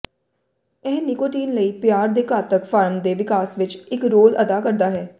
ਇਹ ਨਿਕੋਟੀਨ ਲਈ ਪਿਆਰ ਦੇ ਘਾਤਕ ਫਾਰਮ ਦੇ ਵਿਕਾਸ ਵਿੱਚ ਇੱਕ ਰੋਲ ਅਦਾ ਕਰਦਾ ਹੈ